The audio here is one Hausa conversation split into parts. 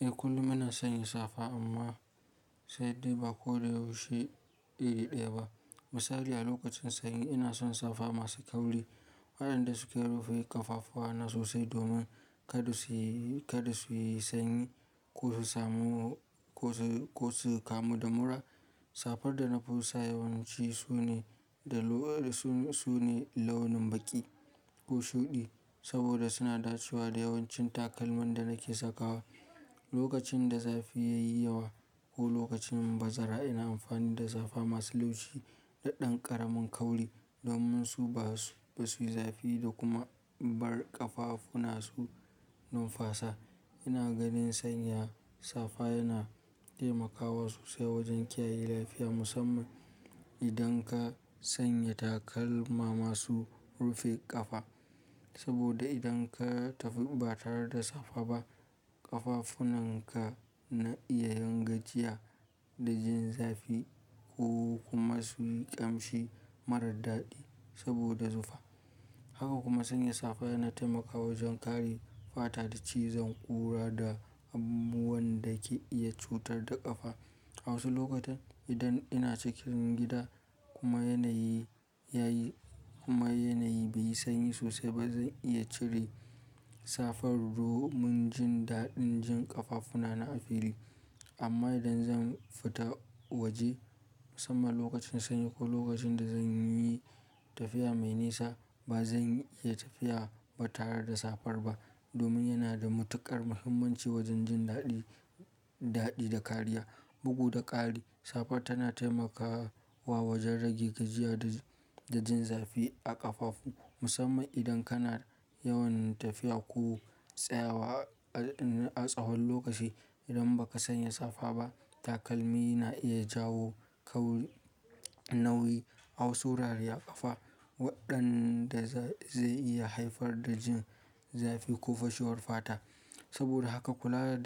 Eh kullum ina sanya safa amma sai dai ba ko da yaushe iri ɗaya ba. Misali a lokacin sanyi ina son safa masu kauri waɗanda suke rufe ƙafafuwana sosai domin kada suyi sanyi ko su kamu da mura. Safar da na fi so yawanci sune launin baƙi ko shuɗi saboda suna dacewa da yawancin takalmin da nake sakawa. Lokacin da zafi yayi yawa ko lokacin bazara ina amfani da safa masu laushi da ɗan ƙaramin kauri domin su ba su yi zafi da kuma bar ƙafafuna su numfasa. Ina ganin sanya safa yana taimakawa sosai wajen kiyaye lafiya musamman idan ka sanya takalma masu rufe ƙafa. Saboda idan ka tafi ba tare da safa ba ƙafafuna ka na iya yin gajiya da jin zafi ko kuma su yi ƙamshi marar daɗi saboda zufa. Haka kuma sanya safa yana taimakawa wajen kare fata da cizon ƙura da abubuwan da ke iya cutar da ƙafa. A wasu lokutan idan ina cikin gida kuma yanayi bai yi sanyi sosai ba zan iya cire safar domin jin daɗin jin ƙafafuna na a fili. Amma idan zan fita waje musamman lokacin sanyi ko lokacin da zan yi tafiya mai nisa ba zan iya tafiya ba tare da safar ba domin yana da matuƙar muhimmanci wajen jin daɗi da kariya. Bugu da ƙari safar tana taimakawa wajen rage gajiya da jin zafi a ƙafafu musamman idan kana yawan tafiya ko tsayawa a tsahon lokaci. Idan ba ka sanya safa ba takalmi na iya jawo nauyi a wasu wurare a ƙafa waɗanda zai iya haifar da jin zafi ko fashiwar fata. Saboda haka kula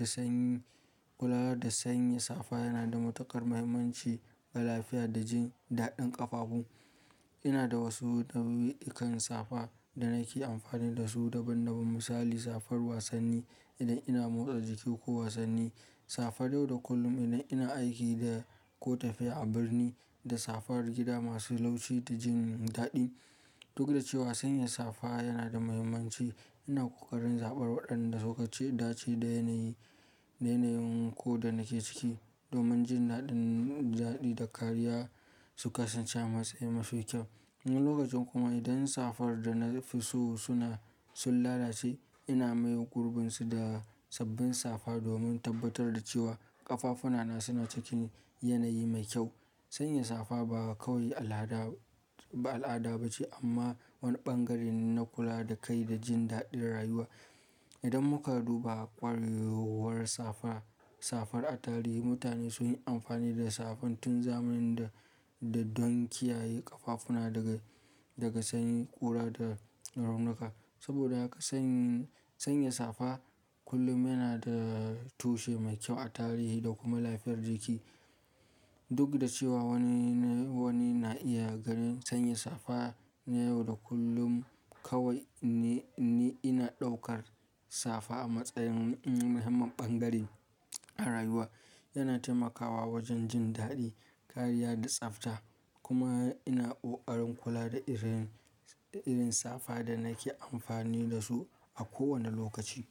da sanya safa yana da matuƙar muhimmanci ga lafiya da jin daɗin ƙafafu. Ina da wasu nau'ikan safa da nake amfani da su daban daban misali safar wasanni idan ina motsa jiki ko wasanni, safa yau da kullum idan ina aiki ko tafiya a birni da safar gida masu laushi da jin daɗi. Duk da cewa sanya safa yana da muhimmanci ina ƙoƙarin zaɓar waɗanda suka dace da yanayin ko da nake ciki domin jin daɗin da kariya su kasance a matsayin mafi kyau. Wani lokacin kuma idan safar da na fi so sun lalace ina maye gurbinsu da sabbin safa domin tabbatar da cewa ƙafafuna suna cikin yanayi mai kyau. Sanya safa ba kawai al'ada ba ce amma wani ɓangare ne na kula da kai da jin daɗin rayuwa. Idan muka duba ƙwarewar safar a tarihi mutane sun yi amfani da safa tun zamanin da don kiyaye ƙafafuna daga sanyin ƙura da raunuka. Saboda haka sanya safa kullum yana da tushe mai kyau a tarihi da kuma lafiyar jiki. Duk da cewa wani na iya ganin sanya safa na yau da kullum kawai ni ina ɗaukar safa a matsayin muhimman ɓangare a rayuwa. Yana taimakawa wajen jin daɗi kariya da tsafta kuma ina ƙoƙarin kula da irin safa da nake amfani da su a kowane lokaci.